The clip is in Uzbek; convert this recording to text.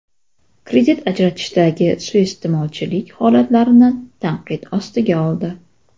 kredit ajratishdagi suiiste’molchilik holatlarini tanqid ostiga oldi.